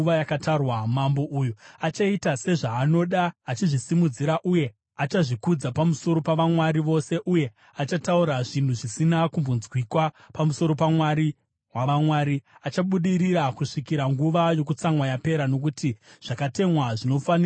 “Mambo uyu achaita sezvaanoda. Achazvisimudzira uye achazvikudza pamusoro pavamwari vose uye achataura zvinhu zvisina kumbonzwikwa pamusoro paMwari wavamwari. Achabudirira kusvikira nguva yokutsamwa yapera, nokuti zvakatemwa zvinofanira kuitika.